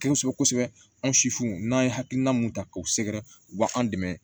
Kosɛbɛ kosɛbɛ kosɛbɛ an sifu n'an ye hakilina mun ta k'u sɛgɛrɛ u b'an dɛmɛ